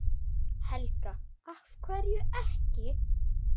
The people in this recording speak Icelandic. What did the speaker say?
Helga: Af hverju ekki?